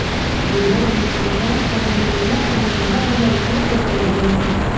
જે બાદ યુવકે પેન્ટ કાઢીને મહિલા સામે ગંદા ગંદા ઈશારો કરવા લાગ્યો હતો